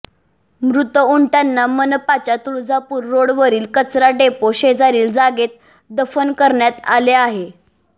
मृत उंटांना मनपाच्या तुळजापूर रोडवरील कचराडेपो शेजारील जागेत दफन करण्यात आले आहे